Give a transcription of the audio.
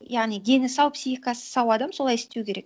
яғни дені сау психикасы сау адам солай істеу керек